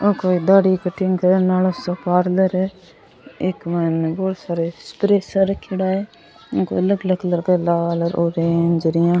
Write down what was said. आ कोई दाढ़ी कटिंग करन आलो सो पार्लर है इक मायने बहुत सारे स्प्रे सा रखयोड़ा है आंको अलग अलग कलर का लाल ऑरेंज यान।